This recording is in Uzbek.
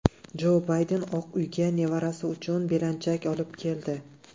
Jo Bayden Oq uyga nevarasi uchun belanchak olib keldi.